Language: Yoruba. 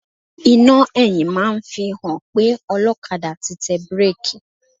Iná ẹ̀yìn máa ń fi hàn pé ọlọ́kadà ti tẹ bíréèkì.